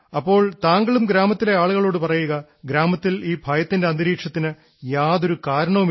അപ്പോൾ താങ്കളും ഗ്രാമത്തിലെ ആളുകളോടു പറയുക ഗ്രാമത്തിൽ ഈ ഭയത്തിന്റെ അന്തരീക്ഷത്തിന് യാതൊരു കാരണവുമില്ലെന്ന്